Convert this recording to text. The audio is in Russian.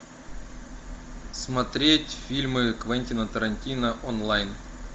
смотреть фильмы квентина тарантино онлайн